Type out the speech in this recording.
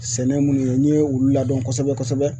Sɛnɛ munnu ye n ye olu ladɔn kosɛbɛ kosɛbɛ